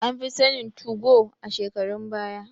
An fi sanin 2go a shekarun baya